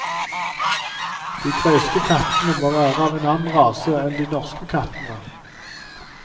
De greske kattene må være av en annen rase enn de norske kattene.